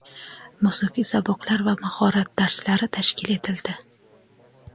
musiqiy saboqlar va "Mahorat dars"lari tashkil etildi.